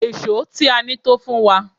Èṣó tí a ní tó fún wa.